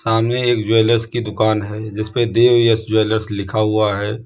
सामने एक ज्वेलर्स की दुकान है जिसपे देवयश ज्वेलर्स लिखा हुआ है।